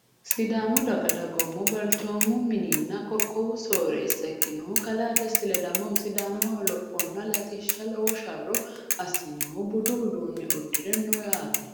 Sidaamu daga dagoomuna balcoomu mininna qoqowu sooreesa ikinohu kalaa desti ledamohu sidaamaho lophonna latishaho lowo sharro asinohu budu uduune udire no yaate.